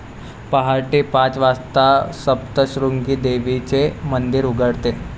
पाहटे पाच वाजता सप्तशृंगी देवीचे मंदिर उघडते.